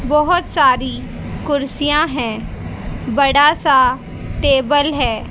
बहोत सारी कुर्सियां है। बड़ा सा टेबल है।